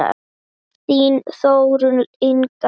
Þín Þórunn Inga.